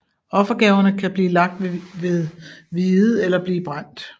Offergaverne kan blive lagt ved viet eller blive brændt